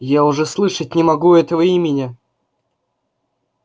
я уже слышать не могу этого имени